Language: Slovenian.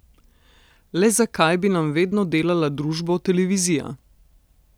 Le zakaj bi nam vedno delala družbo televizija?